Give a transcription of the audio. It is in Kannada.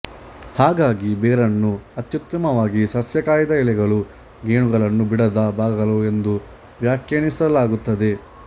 ಹಾಗಾಗಿ ಬೇರನ್ನು ಅತ್ಯುತ್ತಮವಾಗಿ ಸಸ್ಯ ಕಾಯದ ಎಲೆಗಳು ಗೆಣ್ಣುಗಳನ್ನು ಬಿಡದ ಭಾಗಗಳು ಎಂದು ವ್ಯಾಖ್ಯಾನಿಸಲಾಗುತ್ತದೆ